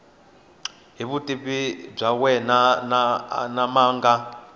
hi vutivi byakwe ma nga